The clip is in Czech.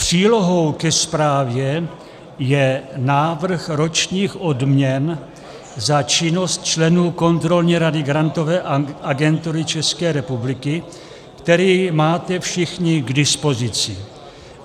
Přílohou ke zprávě je návrh ročních odměn za činnost členů kontrolní rady Grantové agentury České republiky, který máte všichni k dispozici.